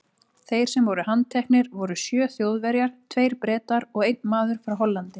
Þeir sem voru handteknir voru sjö Þjóðverjar, tveir Bretar og einn maður frá Hollandi.